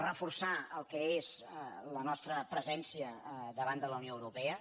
reforçar el que és la nostra presència a davant de la unió europea